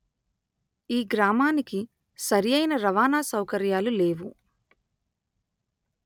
ఈ గ్రామానికి సరి అయిన రవాణా సౌకర్యాలు లేవు